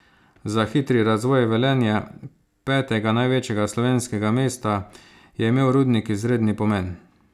Za hitri razvoj Velenja, petega največjega slovenskega mesta, je imel rudnik izredni pomen.